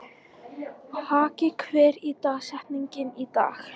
Haki, hver er dagsetningin í dag?